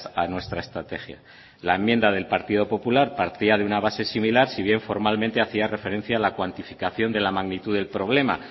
a nuestra estrategia la enmienda del partido popular partía de una base similar si bien formalmente hacía referencia a la cuantificación de la magnitud del problema